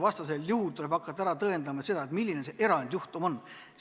Vastasel juhul tuleks hakata määratlema, milline see erandjuhtum olla võib.